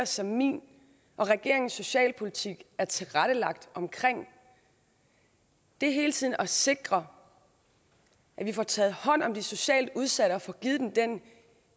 som min og regeringens socialpolitik er tilrettelagt omkring er hele tiden at sikre at vi får taget hånd om de socialt udsatte og får givet dem den